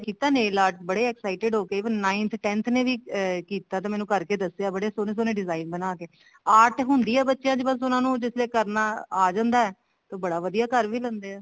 ਕੀਤਾ nail art ਬੜੇ excited ਹੋਕੇ ਏਵੇਂ ninth tenth ਨੇ ਵੀ ਕੀਤਾ ਤੇ ਅਮ ਮੈਨੂੰ ਕਰਕੇ ਦੱਸਿਆ ਬੜੇ ਸੋਹਣੇ ਸੋਹਣੇ design ਬਣਾ ਕੇ art ਹੁੰਦੀ ਆ ਬੱਚਿਆਂ ਚ ਉਹਨਾ ਨੂੰ ਜਿੱਥੇ ਤੱਕ ਕਰਨਾ ਆ ਜਾਂਦਾ ਬੜਾ ਵਧੀਆ ਕਰ ਵੀ ਲੈਂਦੇ ਏ